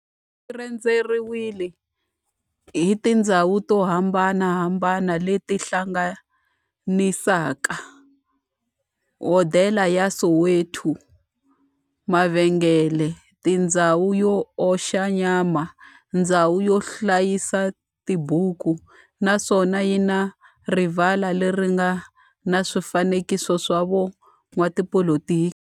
Rhendzeriwile hi tindhawu to hambanahambana le ti hlanganisaka, hodela ya Soweto, mavhengele, ndhawu yo oxa nyama, ndhawu yo hlayisa tibuku, naswona yi na rivala le ri nga na swifanekiso swa vo n'watipolitiki.